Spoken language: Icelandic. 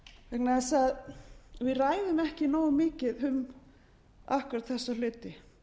vegna þess að við ræðum ekki nógu mikið um akkúrat þessa hluti